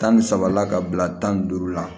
Tan ni saba la ka bila tan ni duuru la